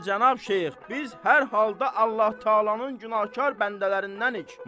Bəli, Cənab Şeyx, biz hər halda Allah-Taalanın günahkar bəndələrindənik.